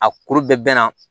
A kuru bɛɛ na